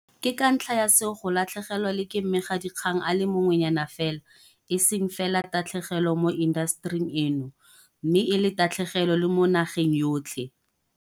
Ke ka ntlha ya seo go latlhegelwa le ke mmegadikgang a le mongwenyana fela e seng fela tatlhegelo mo intasetering eno mme e le tatlhegelo le mo nageng yotlhe.